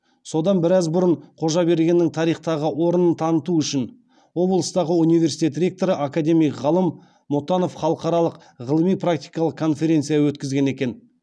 содан біраз бұрын қожабергеннің тарихтағы орнын таныту үшін облыстағы университет ректоры академик ғалым мұтанов халықаралық ғылыми практикалық конференция өткізген екен